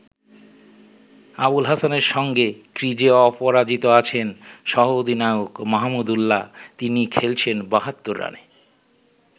আবুল হাসানের সঙ্গে ক্রিজে অপরাজিত আছেন সহ-অধিনায়ক মাহমুদুল্লা, তিনি খেলছেন ৭২ রানে।